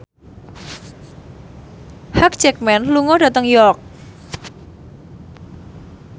Hugh Jackman lunga dhateng York